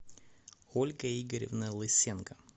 ольга игоревна лысенко